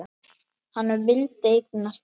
Hann vildi eignast börn.